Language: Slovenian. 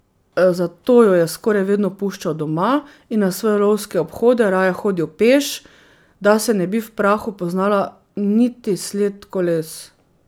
Zato jo je skoraj vedno puščal doma in na svoje lovske obhode raje hodil peš, da se ne bi v prahu poznala niti sled koles.